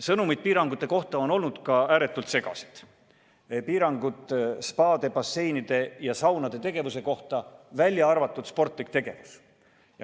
Sõnumid piirangute kohta on olnud ääretult segased – piirangud spaade, basseinide ja saunade tegevuse kohta, välja arvatud sportlik tegevus.